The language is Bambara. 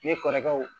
Ne kɔrɔkɛw